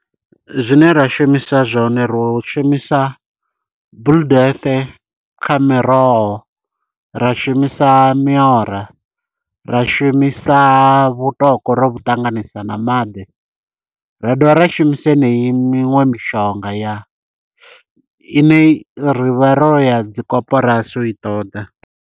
Zwine ra shumisa zwone ro shumisa, blue death kha miroho. Ra shumisa miora, ra shumisa vhutoko ro vhu ṱanganisa na maḓi. Ra dovha ra shumisa yeneyi miṅwe mishonga ya i ne rivha ro ya dzi koporasi u i ṱoḓa.